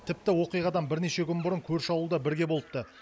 тіпті оқиғадан бірнеше күн бұрын көрші ауылда бірге болыпты